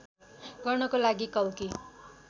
गर्नको लागि कल्कि